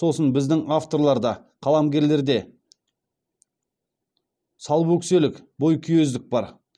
сосын біздің авторларда қаламгерлерде салбөкселік бойкүйездік бар